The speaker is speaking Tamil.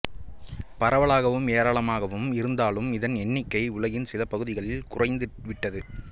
பரவலாகவும் ஏராளமாகவும் இருந்தாலும் இதன் எண்ணிக்கை உலகின் சில பகுதிகளில் குறைந்துவிட்டது